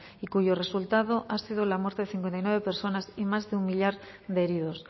y cuyo resultado ha sido la muerte de cincuenta y nueve personas y más de un millar de heridos